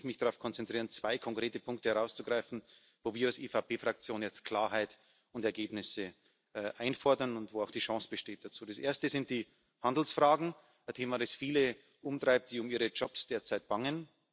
Deswegen möchte ich mich darauf konzentrieren, zwei konkrete Punkte herauszugreifen, wo wir als EVP Fraktion jetzt Klarheit und Ergebnisse einfordern und wo auch die Chance dazu besteht Das erste sind die Handelsfragen ein Thema, das viele umtreibt, die derzeit um ihre Jobs bangen.